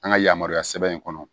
An ka yamaruya sɛbɛn in kɔnɔ